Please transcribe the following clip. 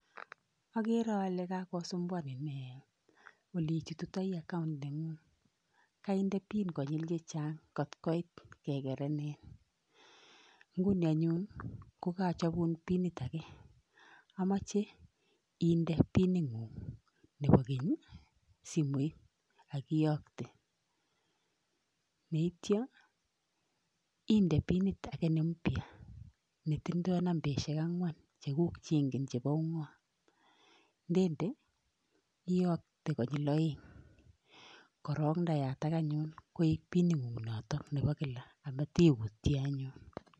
Agere ale kakosumbuaniin ole ichutitoi account nengung. Kainde pin konyiil chechang kot koit kegerenin, ngunii anyun ko karachabun pinit age, amoche indee pin ingung nebo menu, simoit ak ikoite. Yeityoo indee pinit age neimbyaa netindoo nambaisiek angwan chekuk changen chebo ungot. Yekeindee iyoktee konyil oeng, korong yeyatak anyun koik pin ingung nebo kila amatiutyeen anyun